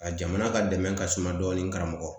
A jamana ka dɛmɛ ka suma dɔɔnin karamɔgɔ